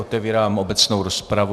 Otevírám obecnou rozpravu.